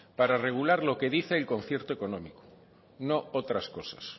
para regular lo que dice el concierto económico no otras cosas